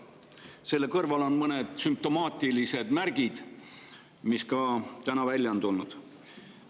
Selle kõrval on mõned sümptomaatilised märgid, mis ka täna välja on tulnud.